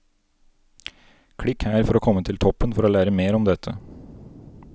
Klikk her for å komme til toppen for å lære mer om dette!